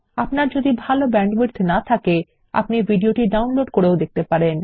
আপনার যদি ভাল ব্যান্ডউইডথ না থাকে আপনি ভিডিওটি ডাউনলোড করেও দেখতে পারেন